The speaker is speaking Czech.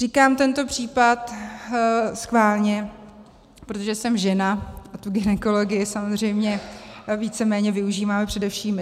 Říkám tento případ schválně, protože jsem žena a tu gynekologii samozřejmě víceméně využíváme především my.